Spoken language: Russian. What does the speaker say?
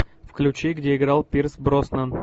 включи где играл пирс броснан